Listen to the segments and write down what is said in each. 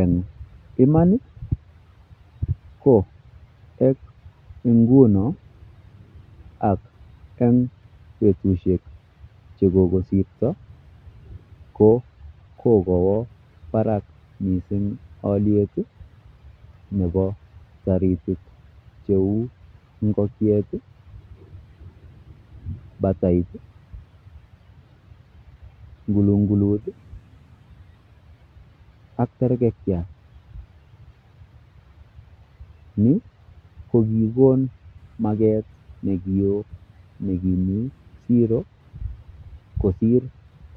Eng' iman ii ko eng nguno ak eng betusiek che kokosirto, ko kokowo barak mising' alyet ii nebo taritik cheu ingokiet ii, batait ii, kulungulut ii ak terkekiat. Ni kokikon maket ne ki oo ne kimi siro kosir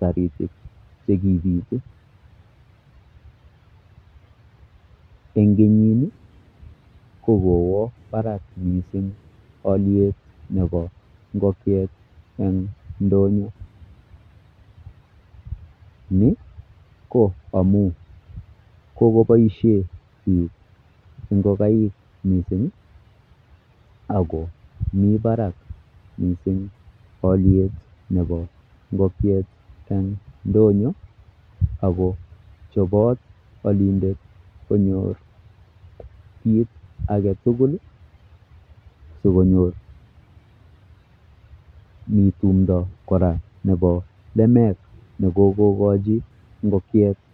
taritik che kibitu, eng kenyini ko kowo barak mising' alyet nebo ngokiet eng' ndonyo, ni ko amu kokoboisie piik ngokaik mising ii, ako mi barak mising alyet nebo ngokiek eng' ndonyo ako chobot alindet konyor kiit ake tugul sokonyor, mi tumdo kora nebo lemek ne kokokochi ngokiet....